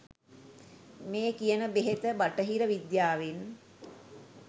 මේ කියන බෙහෙත බටහිර විද්‍යාවෙන්